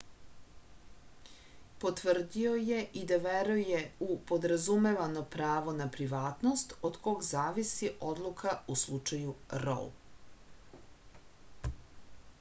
potvrdio je i da veruje u podrazumevano pravo na privatnost od kog zavisi odluka u slučaju rou